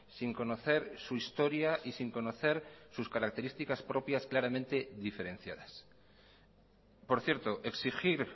sin conocer su historia y sin conocer sus características propias claramente diferenciadas por cierto exigir